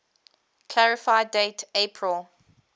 clarify date april